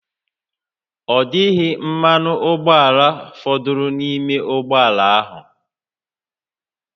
Ọ dịghị mmanụ ụgbọala fọdụrụ n'ime ụgbọ ala ahụ